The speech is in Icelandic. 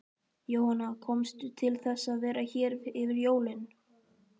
Jóhanna: Komstu til þess að vera hér yfir jólin?